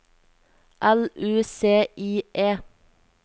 L U C I E